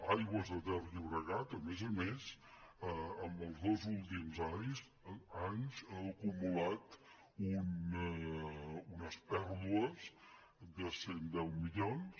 aigües ter llobregat a més a més en els dos últims anys ha acumulat unes pèrdues de cent i deu milions